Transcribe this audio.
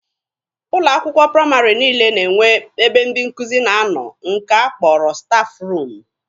Ụlọ akwụkwọ praịmarị niile na-enwe ebe ndị nkụzi na-anọ nke a kpọrọ 'stafụ ruumu'